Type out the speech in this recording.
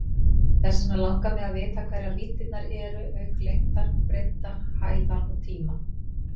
Þess vegna langar mig að vita hverjar víddirnar eru auk lengdar, breiddar, hæðar og tíma?